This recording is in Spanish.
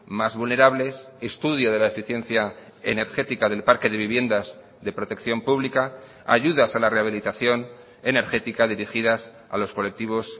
más vulnerables estudio de la eficiencia energética del parque de viviendas de protección pública ayudas a la rehabilitación energética dirigidas a los colectivos